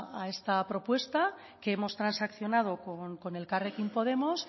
a esta propuesta que hemos transaccionado con elkarrekin podemos